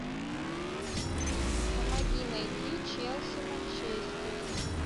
помоги найти челси манчестер